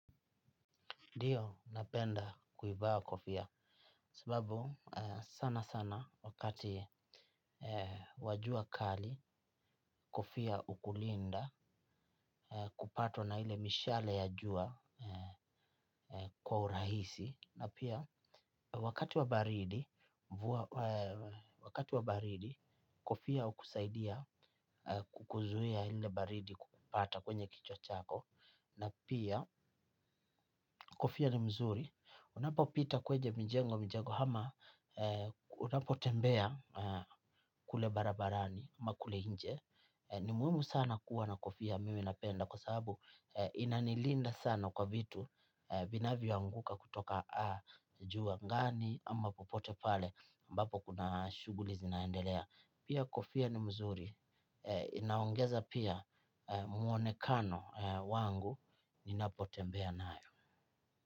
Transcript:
Ndio, napenda kuivaa kofia, sababu sana sana wakati wa jua kali, kofia hukulinda, kupatwa na ile mishale ya jua. Kwa urahisi, na pia, wakati wa baridi, kofia hukusaidia kukuzuia ile baridi kukupata kwenye kichwa chako, na pia kofia ni mzuri, unapopita kwenye mijengo mijengo ama, unapotembea kule barabarani, ama kule nje. Ni muhimu sana kuwa na kofia. Mimi napenda kwa sababu inanilinda sana kwa vitu vinavyoanguka kutoka juu ngani ama popote pale mbapo kuna shughuli zinendelea. Pia kofia ni mzuri, inaongeza pia mwonekano wangu ninapotembea nayo.